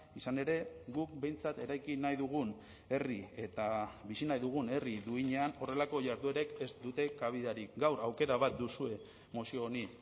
izan ere guk behintzat eraiki nahi dugun herri eta bizi nahi dugun herri duinean horrelako jarduerek ez dute kabidarik gaur aukera bat duzue mozio honi